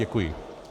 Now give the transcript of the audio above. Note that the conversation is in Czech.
Děkuji.